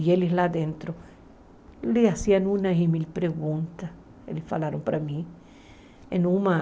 E eles lá dentro lhe faziam umas mil perguntas, eles falaram para mim. Em uma